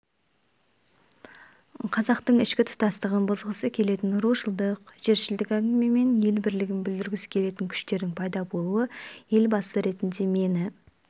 қазақтың ішкі тұтастығын бұзғысы келетін рушылдық жершілдік әңгімемен ел бірлігін бүлдіргісі келетін күштердің пайда болуы елбасы ретінде мені